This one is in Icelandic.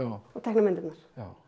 og teikna myndirnar